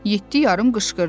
Yeddi yarım qışqırdı.